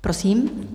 Prosím.